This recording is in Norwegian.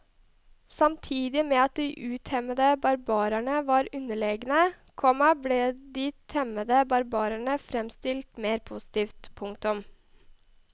Samtidig med at de utemmede barbarene var underlegne, komma ble de temmede barbarene fremstilt mer positivt. punktum